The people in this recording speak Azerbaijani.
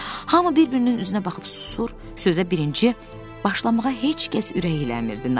Hamı bir-birinin üzünə baxıb susur, sözə birinci başlamağa heç kəs ürəklənmirdi.